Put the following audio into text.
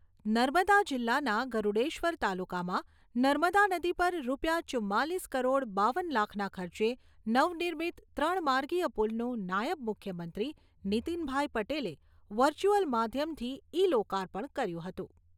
નર્મદા જિલ્લાના ગરૂડેશ્વર તાલુકામાં નર્મદા નદી પર રૂપિયા ચુંમાલીસ કરોડ બાવન લાખના ખર્ચે નવ નિર્મત ત્રણ માર્ગીય પુલનું નાયબ મુખ્યમંત્રી નીતિનભાઈ પટેલે વર્ચુઅલ માધ્યમથી ઇ લોકાર્પણ કર્યું હતું.